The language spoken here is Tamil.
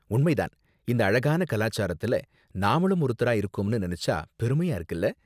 உண்மை தான், இந்த அழகான கலாச்சாரத்துல நாமளும் ஒருத்தரா இருக்கோம்னு நினைச்சா பெருமையா இருக்குல?